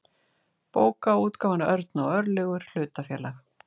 bókaútgáfan örn og örlygur hlutafélag